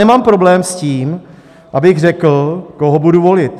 Nemám problém s tím, abych řekl, koho budu volit.